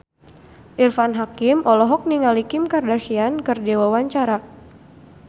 Irfan Hakim olohok ningali Kim Kardashian keur diwawancara